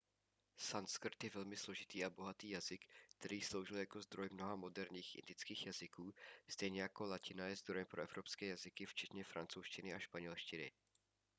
sanskrt je velmi složitý a bohatý jazyk který sloužil jako zdroj mnoha moderních indických jazyků stejně jako latina je zdrojem pro evropské jazyky včetně francouzštiny a španělštiny